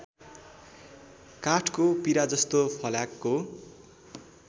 काठको पिराजस्तो फल्याकको